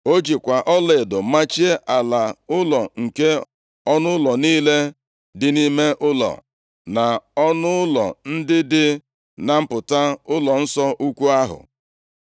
O jikwa ọlaedo machie ala ụlọ nke ọnụụlọ niile dị nʼime ụlọ, na ọnụụlọ ndị dị na mpụta ụlọnsọ ukwu ahụ.